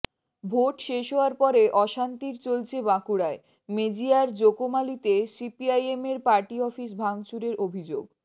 vote শেষ হওয়ার পরে অশান্তির চলছে বাঁকুড়ায় মেজিয়ার জকোমালিতে সিপিআইএমের পার্টি অফিস ভাঙচুরের অভিযোগ